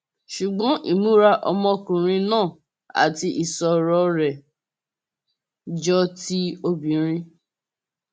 ṣùgbọn ìmúra ọmọkùnrin náà àti ìṣòro rẹ jọ ti obìnrin